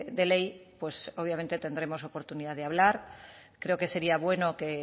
de ley pues obviamente tendremos oportunidad de hablar creo que sería bueno